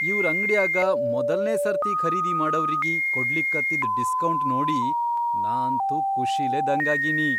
ಇವ್ರ್ ಅಂಗ್ಡ್ಯಾಗ ಮೊದಲ್ನೇ ಸರ್ತಿ ಖರೀದಿ ಮಾಡವ್ರಿಗಿ ಕೊಡ್ಲಿಕತ್ತಿದ್ ಡಿಸ್ಕೌಂಟ್ ನೋಡಿ ನಾ ಅಂತೂ ಖುಷಿಲೇ ದಂಗಾಗೀನಿ.